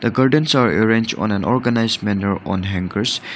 The curtains are arranged on an organised manner on hangers.